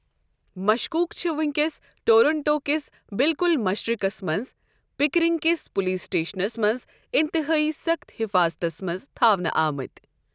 مشكوُک چھِ وُنکیٚس ٹورنٛٹو کِس بِلکُل مشرِقس منٛز، پِکرِنٛگ کِس پُلیٖس سٕٹیشنَس منٛز اِنتِہٲیی سخٕت حفاضتس منٛز تھاونہٕ آمٕتۍ ۔